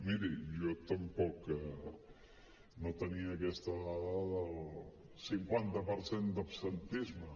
miri jo tampoc no tenia aquesta dada del cinquanta per cent d’absentisme